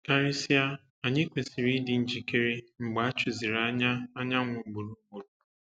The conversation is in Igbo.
Karịsịa, anyị kwesịrị ịdị njikere mgbe a chụziri anya anyanwụ ugboro ugboro.